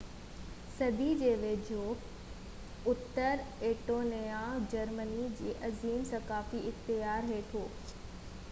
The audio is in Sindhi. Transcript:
15 صدي جي ويجهو اتر ايسٽونيا جرمني جي عظيم ثقافتي اختيار هيٺ هو